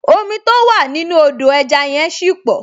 Omi tó wà nínú Odò ẹja yẹn ṣì pọ̀